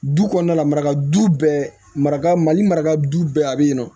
Du kɔnɔna du bɛɛ mara mali maraka bɛɛ a bɛ yen nɔ